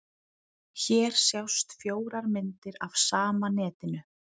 Hér sjást fjórar myndir af sama netinu.